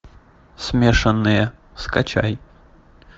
смешанные скачай